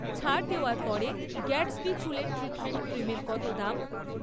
ছাড় দেওয়ার পরে গ্যাটসবি চুলের ট্রিটমেন্ট ক্রিমের কত দাম?